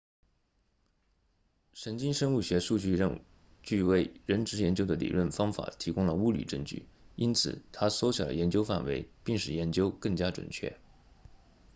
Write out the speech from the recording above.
神经生物学数据为认知研究的理论方法提供了物理证据因此它缩小了研究范围并使研究更加精确